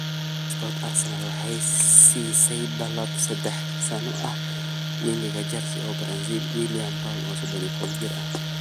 (Sport) Arsenal waxay siisay dalab saddex sano ah winga Chelsea iyo Brazil, Willian, oo 31 jir ah.